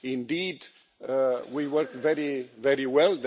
Indeed we worked very, very well.